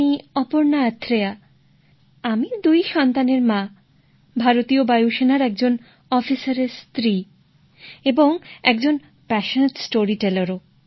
আমি অপর্ণা আথ্রেয়া আমি দুই সন্তানের মা ভারতীয় বায়ুসেনার একজন অফিসারের স্ত্রী এবং একজন প্যাশোনেট স্টোরিটেলার